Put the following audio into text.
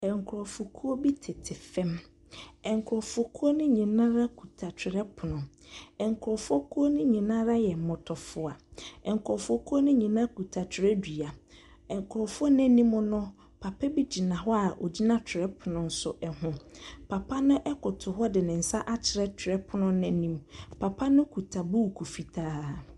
Nkurɔfokuo bi tete fam. Nkurɔfokuo no nyinaa kuta twerɛpono. Nkurɔfokuo no nyinaa yɛ mmɔtafoa. Nkurɔfokuo no nyinaa kuta twerɛdua. Nkurɔfoɔ no anim no, papa bi gyina hɔ a ɔgyina twerɛpono nso ho. Papa no koto hɔ de nsa akyerɛ twerɛpono no anim. Papa no kuta buuku fitaa.